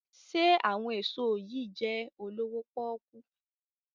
Ṣe àwọn èso yí jé olowo poku?